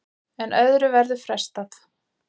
En öðru verður frestað.